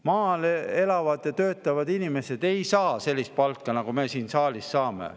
Maal elavad ja töötavad inimesed ei saa sellist palka, nagu me siin saalis saame.